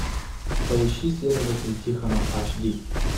поищи следователь тихонов ач ди